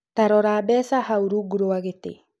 Tarora mbeca hau rungu rwa gĩtĩ.